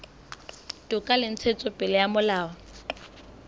toka le ntshetsopele ya molao